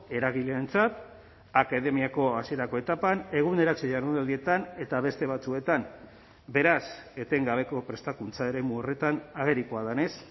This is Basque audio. eragileentzat akademiako hasierako etapan eguneratze jardunaldietan eta beste batzuetan beraz etengabeko prestakuntza eremu horretan agerikoa denez